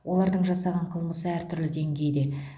олардың жасаған қылмысы әртүрлі дейгейде